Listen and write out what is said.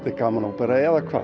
gaman ópera eða hvað